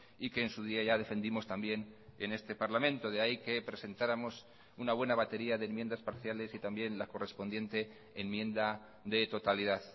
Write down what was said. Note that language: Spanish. y que en su día ya defendimos también en este parlamento de ahí que presentáramos una buena batería de enmiendas parciales y también la correspondiente enmienda de totalidad